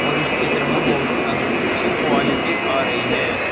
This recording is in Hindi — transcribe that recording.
और इस चित्र में बहुत अंच्छी क्वालिटी आ रही है।